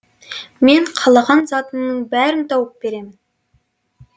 мен қалаған затыңның бәрін тауып беремін